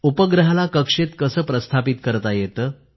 उपग्रहाला कक्षेत कसं प्रस्थापित करता येतं